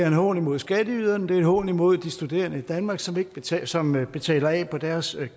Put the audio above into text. en hån imod skatteyderne det er en hån imod de studerende i danmark som betaler som betaler af på deres